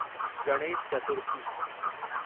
Ganesh Chaturthi